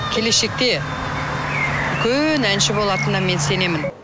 келешекте үлкен әнші болатынына мен сенемін